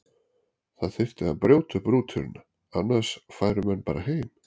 Það þyrfti að brjóta upp rútínuna, annars færu menn bara heim.